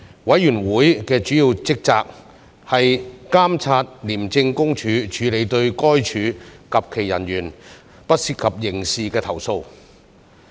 委員會的主要職責，是監察廉政公署處理對該署及其人員不涉及刑事的投訴。